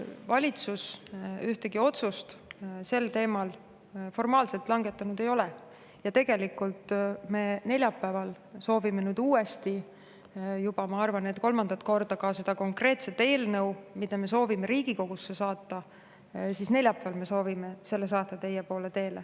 Valitsus ühtegi otsust sel teemal formaalselt langetanud ei ole ja tegelikult me neljapäeval soovime nüüd uuesti, ma arvan, et juba kolmandat korda ka selle konkreetse eelnõu, mida me soovime Riigikogusse saata, teie poole teele saata.